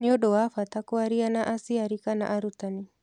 Nĩ ũndũ wa bata kwaria na aciari kana arutani.